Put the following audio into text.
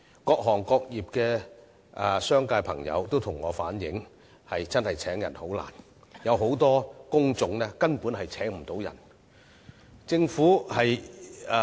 各行各業的商界朋友均向我反映聘請員工真的十分困難，而且很多工種根本無法聘請人手。